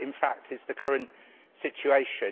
That, in fact, is the current situation.